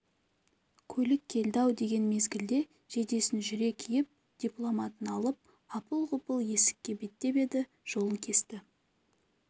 көлік келді-ау деген мезгілде жейдесін жүре киіп дипломатын алып апыл-ғұпыл есңкке беттеп еді жолын кесті